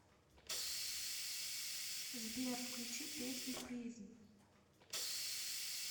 сбер включи песню призм